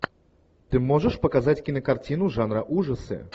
ты можешь показать кинокартину жанра ужасы